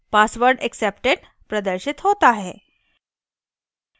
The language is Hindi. password accepted प्रदर्शित होता है